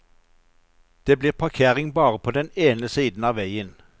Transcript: Det blir parkering bare på den ene siden av veien.